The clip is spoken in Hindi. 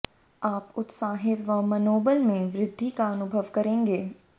आप उत्साहित व मनोबल में वृद्धि का अनुभव करेंगे